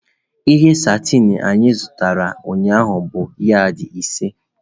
Ihe satin ahụ anyị zụtara ụnyaahụ bụ yad ise.